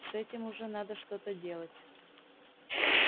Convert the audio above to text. с этим уже надо что-то делать